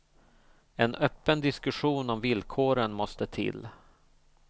En öppen diskussion om villkoren måste till.